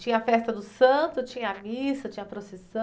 Tinha a festa do santo, tinha a missa, tinha a procissão?